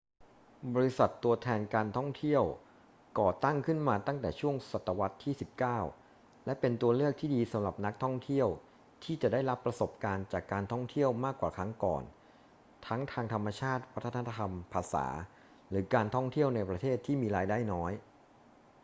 บริษัทตัวแทนการท่องเที่ยวก่อตั้งขึ้นมาตั้งแต่ช่วงศตวรรษที่ 19 และเป็นตัวเลือกที่ดีสำหรับนักท่องเที่ยวที่จะได้รับประสบการณ์จากการท่องเที่ยวมากกว่าครั้งก่อน ทั้งทางธรรมชาติ วัฒนธรรม ภาษา หรือการท่องเที่ยวในประเทศที่มีรายได้น้อย